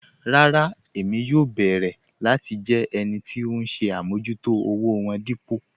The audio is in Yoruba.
Rárá Ẹ̀mí yóò bẹ̀ẹ̀rẹ̀ láti jẹ́ ẹnì tì ọ̀hun ṣè àmọ̀jútò òwò wọn dípò